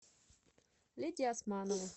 лидия османова